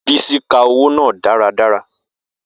Bisi ka owo naa daradara.